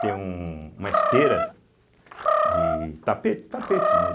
tem um uma esteira de tapete, tapete, né?